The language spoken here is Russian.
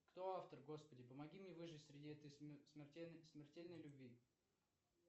кто автор господи помоги мне выжить среди этой смертельной любви